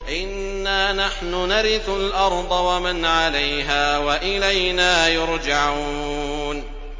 إِنَّا نَحْنُ نَرِثُ الْأَرْضَ وَمَنْ عَلَيْهَا وَإِلَيْنَا يُرْجَعُونَ